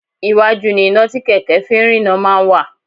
Iwájú ni iná tí kẹ̀kẹ́ fi ń rína máa ń wà